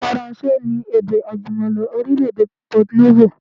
Faransé ni èdè àjùmọ̀lo orílẹ̀ èdè Port Novo